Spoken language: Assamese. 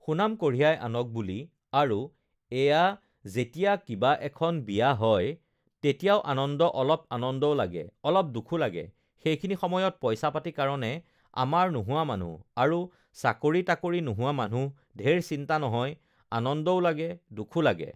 সুনাম কঢ়িয়াই আনক বুলি আৰু এয়া যেতিয়া কিবা এখন বিয়া হয় তেতিয়াও আনন্দ অলপ আনন্দও লাগে অলপ দুখো লাগে সেইখিনি সময়ত পইচা-পাতি কাৰণে আমাৰ নোহোৱা মানুহ আৰু চাকৰি-তাকৰি নোহোৱা মানুহ ধেৰ চিন্তা নহয় আনন্দও লাগে দুখো লাগে